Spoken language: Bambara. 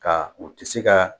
Ka u ti se ka